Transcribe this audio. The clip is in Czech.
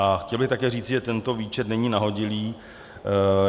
A chtěl bych také říci, že tento výčet není nahodilý.